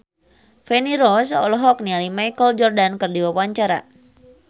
Feni Rose olohok ningali Michael Jordan keur diwawancara